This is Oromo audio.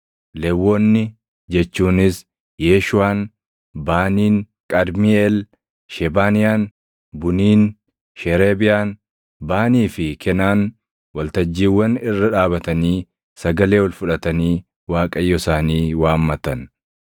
Lewwonni jechuunis Yeeshuuʼaan, Baaniin, Qadmiiʼeel, Shebaniyaan, Buniin, Sheereebiyaan, Baanii fi Kenaan waltajjiiwwan irra dhaabatanii sagalee ol fudhatanii Waaqayyo isaanii waammatan.